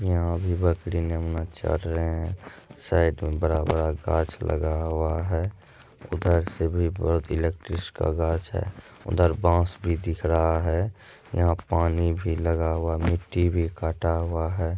यहाँ भी बकरी नेमना चर रहे हैं साइड में बड़ा- बड़ा गाछ लगा हुआ है उधर से भी का गाछ है उधर बास भी दिख रहा है यहाँ पानी भी लगा हुआ मिट्टी भी काटा हुआ है।